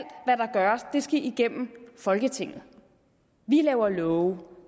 det skal igennem folketinget vi laver love